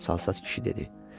Çalsaç kişi dedi.